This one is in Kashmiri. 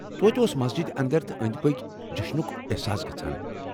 توتہِ اوس مسجد اندر تہٕ أنٛدۍ پٔکۍ جیٚشنُک احساس گژھان۔